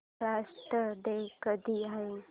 Maharashtra day कधी आहे